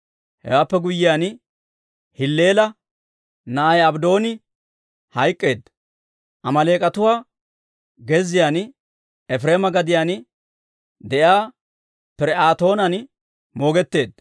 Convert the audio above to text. Hewaappe guyyiyaan, Hilleela na'ay Abddooni hayk'k'eedda; Amaaleek'atuwa gezziyaan Efireema gadiyaan de'iyaa Pir"aatoonan moogetteedda.